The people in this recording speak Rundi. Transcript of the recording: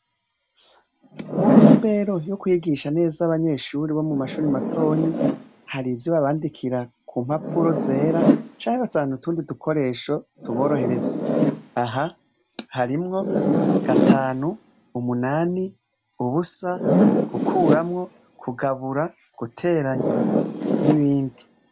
Mu ntumbero yo kwigisha neza abanyeshure bo mu mashure matonyi, hari ivyo babandikira ku mpapuro zera, canke ugasanga n'utundi dukoresho tuborohereza. Aha harimwo gatanu, umunani, ubusa, gukuramwo, guteranya, kugabura, n'ibindi.